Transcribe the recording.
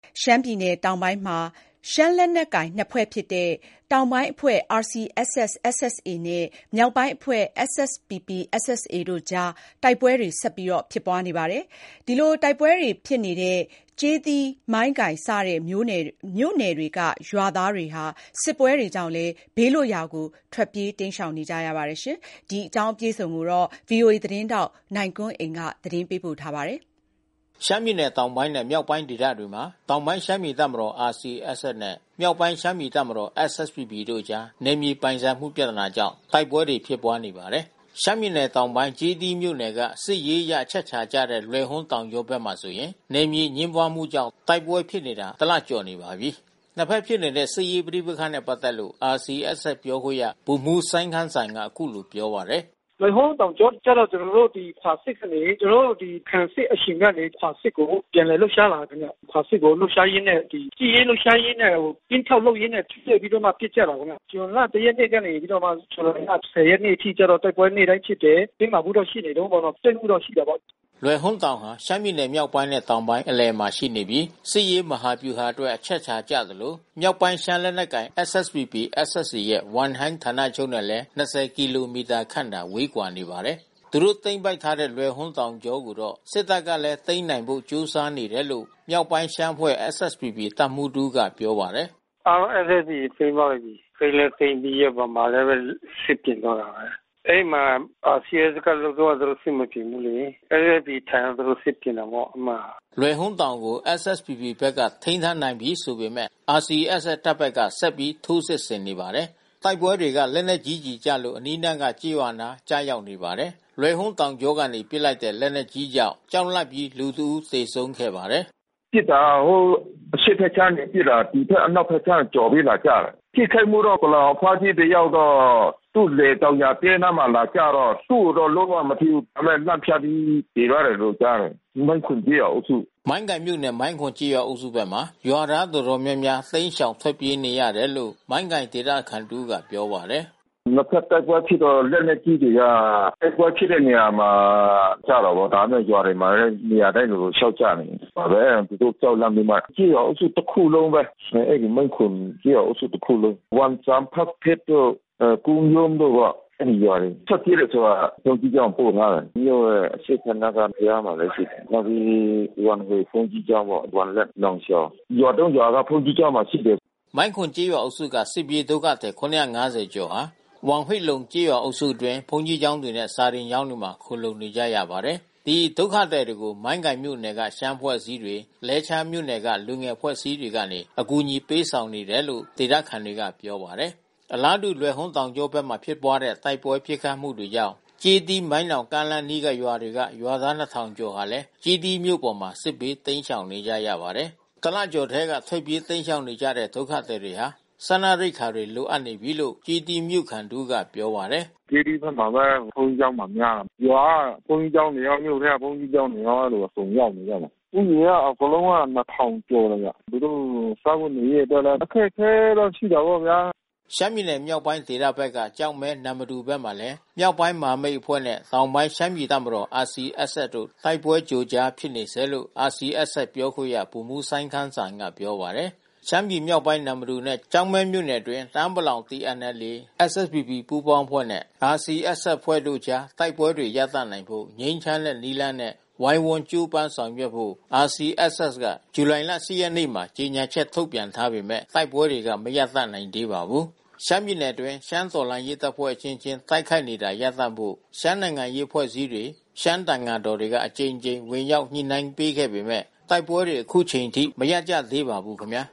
ရှမ်းပြည်နယ်တောင်ပိုင်းမှာ ရှမ်းလက်နက်ကိုင် ၂ ဖွဲ့ဖြစ်တဲ့ တောင်ပိုင်းအဖွဲ့ RCSS/ SSA နဲ့ မြောက်ပိုင်းအဖွဲ့ SSPP/SSA တို့ကြား တိုက်ပွဲ ဆက်လက်ဖြစ်ပွားနေပါတယ်။ တိုက်ပွဲတွေဖြစ်နေတဲ့ ကျေးသီး မိုင်းကိုင်စတဲ့ မြို့နယ်တွေက ရွာသားတွေ စစ်ပွဲတွေကြောင့် ဘေးလွတ်ရာမှာ ထွက်ပြေးတိမ်းရှောင်နေကြရပါတယ်။ ဒီအကြောင်းဗီအိုအေသတင်းထောက် နိုင်ကွန်းအိန် ကနေသတင်းပေးပို့ထားပါတယ်။ ရှမ်းပြည်နယ်တောင်ပိုင်းနဲ့ မြောက်ပိုင်းဒေသတွေမှာ တောင်ပိုင်းရှမ်းပြည်တပ်မတော် RCSS နဲ့ မြောက်ပိုင်းရှမ်းပြည် တပ်မတော် SSPP တို့အကြား နယ်မြေပိုင်ဆိုင်မှုပြဿနာကြောင့် တိုက်ပွဲတွေဖြစ်ပွါးနေပါတယ်။ ရှမ်းပြည်နယ်တောင်ပိုင်း ကျေးသီးမြို့နယ်က စစ်ရေးအရအချက်ချာကျတဲ့ လွယ်ဟွန်းတောင်ကြောဘက်မှာဆိုရင် နယ်မြေအငြင်းပွားမှုကြောင့် တိုက်ပွဲဖြစ်နေတာ တလကျော်နေပါပြီ။ ၂ ဘက်ဖြစ်နေတဲ့ စစ်ရေးပဋိပက္ခနဲ့ပါတ်သက်လို့ RCSS ပြောခွင့်ရဗ ိုလ်မှူးစိုင်းခမ်းစံကခုလို ပြောပြပါတယ်။ "လွယ်ဟွန်းတောင်ကြောကျတော့ ကျွန်တော်တို့ခွာစစ်ဆင်နေပြီး။ ကျွန်တော်တို့ခံစစ်အရှင်ကနေ ခွာစစ်ကိုပြန်လည်လှုပ်ရှားလာပြီးတော့ ခွာစစ်ကိုလှုပ်ရှားရင်းနဲ့ စစ်ရေးလှုပ်ရှားရင်းနဲ့ ကင်းထောက်လုပ်ရင်းနဲ့ပစ်ကြတာပေါ့နော်။ ဇွန်လ ရက်နေ့က နေပြီးတော့မှ ဇူလိုင်လ ရက်နေ့အထိကျတော့တိုက်ပွဲနေ့တိုင်းဖြစ်တယ်။ တင်းမာမှုတွေတော့ရှိနေတုန်းပေါ့နော်။ ထိတွေ့ မှုတော့ရှိတာပေါ့" လွယ်ဟွန်းတောင်ဟာ ရှမ်းပြည်မြောက်ပိုင်းနဲ့ တောင်ပိုင်းအလယ်မှာရှိနေပြီး စစ်ရေး မဟာဗျူဟာအတွက် အချက်အခြာကျသလို မြောက်ပိုင်းရှမ်းလက်နက်ကိုင် SSPP/SSA ရဲ့ ဝမ်ဟိုင်းဌာနချုပ်နဲ့လဲ ကီလိုမီတာခန့်သာ ဝေးကွာနေပါတယ်။ သူတို့သိမ်းပိုက်ထားတဲ့ လွယ်ဟွန်းတောင်ကြောကိုတော့ စစ်တပ်ကလည်း သိမ်းနိုင်ဖို့ ကြိုးစားနေတယ်လို့ မြောက်ပိုင်းရှမ်းအဖွဲ့ SSPP တပ်မှူးတဦးက ပြောပါတယ်။ "အားလုံး SSA ကသိမ်းသွားပြီး။ သိမ်းလဲသိမ်းပြီးရော ဗမာလဲဘဲ စစ်ပြင်တော့တာဘဲ။ အဲဒီမှာ RCSS ကလွတ်သွားတာသူတို့ စိတ်မကြည်ဘူးလေ။ SSA ထံသူတို့စစ်ပြင်တာပေါ့အဲဒီမှာ။ လွယ်ဟွန်းတောင်ကို SSPP ဘက်က ထိမ်းထားနိုင်ပြီးဆိုပေမဲ့ RCSS တပ်ဘက်က ဆက်ပြီးထိုးစစ်ဆင်နေပါတယ်။ တိုက်ပွဲတွေက လက်နက်ကြီကျည်တွေကျလို့ အနီးအနားက ကျေးရွာတွေနား ကျရောက်နေပါတယ်" လွယ်ဟွန်းတောင်ကြောကနေ ပစ်လိုက်တဲ့လက်နက်ကြီးကြောင့် ကြောက်လန့်ပြီးလူတဦးသေဆုံးခဲ့ပါတယ်။ "ပစ်တာ ဟိုအရှေ့ဘက်ခြမ်းကနေပစ်တာ ဒီဖက်အနောက်ဖက်ခြမ်းကျော်ပြီးလာကျတယ်။ ထိခိုက်မှုတော့ပလောင်အဖွားကြီး တယောက်တော့ သူ့လယ် တောင်ယာတဲအနားမှာလာကျတော့ သူ့ကိုတော့လုံးဝမထိဘူး။ ဒါပေမဲ့လန့်ဖြန့်ပြီးသေသွား တယ်လို့ကြားတယ်။ နန်းခုန်ကျေးရွာအုပ်စု" မိုင်းကိုင်မြို့နယ် မိုင်းခွန်ကျေးရွာအုပ်စုဘက်မှာ ရွာသားတော်တော်များများ တိမ်းရှောင်ထွက်ပြေးနေရတယ်လို့ မိုင်းကိုင်ဒေသခံတဦးကပြောပါတယ်။ " နှစ်ဖက်တိုက်ပွဲဖြစ်တော့လက်နက်ကြီးတွေက တိုက်ပွဲဖြစ်တဲ့နေရာမှာ ကျတာပေါ့။ ဒါပေမဲ့ ရွာတွေမှာလဲနေရာတိုင်းလိုလို လျှောက်ကျနေတယ်။ အဲတာသူတို့ကြောက်လန့်ပြီးမှ ကျေးရွာအုပ်စုတခုလုံးဘဲ အဲဒီမိုင်းခွန်ကျေးရွာအုပ်စုတခုလုံး။ ဝမ်ဆန် ဖတ်ဖစ်တို့ အဲဒီကုန်းရုံးတို့ပေါ့အဲဒီရွာတွေ။ ထွက်ပြေးတယ်ဆိုတော့ ဘုန်းကြီးကျောင်းကိုပို့ထားတယ်။ မြို့ရဲ့အရှေ့ဖက်နားက ဘုရားမှာလဲရှိတယ်။ နောက်ပြီးဝမ်ဟွေဘုန်းကြီးကျောင်းပေါ့။ ဝမ်လျန့် ၊ နောင်ရှောင်။ ရွာ ရွာကဘုန်းကြီးကျောင်းမှာရှိတယ်" မိုင်းခွန်ကျေးရွာအုပ်စုက စစ်ပြေးဒုက္ခသည် ၇၅၀ ကျော်ဟာ ဝမ်ဟွေ့လုံကျေးရွာအုပ်စုအတွင်း ဘုန်းကြီးကျောင်းတွေနဲ့ စာသင်ကျောင်းတွေမှာ ခိုလှုံနေကြရပါတယ်။ ဒီဒုက္ခသည်တွေကို မိုင်းကိုင်မြို့နယ်ကရှမ်းအဖွဲ့အစည်းတွေ လဲချားမြို့နယ်က လူငယ်အဖွဲ့အစည်းတွေကနေ အကူညီပေး ဆောင်နေတယ်လို့ ဒေသခံတွေကပြောပါတယ်။ အလားတူ လွယ်ဟွန်းတောင်ကြောဘက်မှာဖြစ်ပွါးတဲ့ တိုက်ပွဲပစ်ခတ်မှုတွေမှုကြောင့် ကျေးသီးမိုင်းနောင်ကားလမ်းအနီး ရွာတွေ က ရွာသား ၂၀၀၀ ကျော်ဟာလဲ ကျေးသီးမြို့ပေါ် စစ်ဘေးတိမ်းရှောင်နေကြရပါတယ်။ ၁ လကျော်ထဲက ထွက်ပြေးတိမ်းရှောင်နေကြရတဲ့ ဒုက္ခသည်တွေဟာ စားနပ်ရိက္ခာတွေ လိုအပ်နေပြီးလို့ ကျေးသီးမြို့ခံ တဦးကပြောပါတယ်။ ကျေးသီးဘက်မှာလဲ ဘုန်းကြီးကျောင်းမှာလဲများတယ်။ ရွာထဲကဘုန်းကြီးကျောင်းတွေရော မြို့ထဲကဘုန်းကြီးကျောင်းတွေရော အဲဒီလိုအကုန်ရောက်နေကြတယ်။ ဦးရေကအကုန်လုံးက ၂၀၀၀ ကျော်တယ်။ သူတို့စားဝတ်နေရေးအတွက်လဲ အခက်ခဲလဲရှိတာပေါ့ဗျာ။ ရှမ်းပြည်နယ်မြောက်ပိုင်းဒေသဘက်က ကျောက်မဲ၊ နမ္မတူဘက်မှာလဲ မြောက်ပိုင်းမဟာမိတ်အဖွဲ့နဲ့ တောင်ပိုင်းရှမ်းပြည် တပ်မ တော် RCSS တို့ တိုက်ပွဲကြိုကြားဖြစ်နေဆဲလို့ RCSSပြောခွင့်ရဗိုလ်မှူးစိုင်းခမ်းစံကပြောပါတယ်။ ရှမ်းပြည်မြောက်ပိုင်း နမ္မတူနဲ့ ကျောက်မဲမြို့နယ်အတွင်း တအောင်းပလောင် TNLA ၊ SSPP ပူးပေါင်းအဖွဲ့နဲ့ RCSS အဖွဲ့တို့ကြား တိုက်ပွဲတွေရပ်နိုင်ဖို့ ငြိမ်းချမ်းတဲ့နည်းလမ်းနဲ့ဝိုင်းဝန်းကြိုးပမ်းဆောင်ရွက်ဖို့် RCSS က ဇူလိုင်လ ရက်နေ့မှာကြေညာချက်ထုတ်ပြန်ထားပေမဲ့ တိုက်ပွဲ တွေ ကမရပ်တန့်နိုင်သေးပါဘူး။ ရှမ်းပြည်နယ်တွင်း ရှမ်းတော်လှန်ရေးတပ်ဖွဲ့ အချင်းချင်း တိုက်ခိုက်နေတာရပ်တန့်ဖို့ ရှမ်းနိုင်ငံရေးအဖွဲ့အစည်းတွေ ရှမ်း သံဃာတော်တွေက အကြိမ်ကြိမ် ဝင်ရောက်ညှိနှိုင်းပေးခဲ့ပေမဲ့ တိုက်ပွဲတွေ ခုချိန်ထိ မရပ်ကြသေးပါဘူးခင်ဗျာ